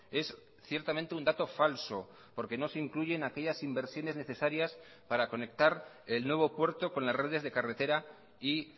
es ciertamente un dato falso porque no se incluyen aquellas inversiones necesarias para conectar el nuevo puerto con las redes de carretera y